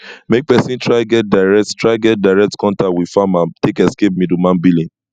make persin try get direct try get direct contact with farmer take escape middleman billing